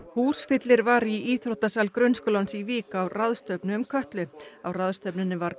húsfyllir var í íþróttasal grunnskólans í Vík á ráðstefnu um Kötlu á ráðstefnunni var